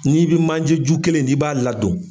Ni bi manje ju kelen ni b'a ladon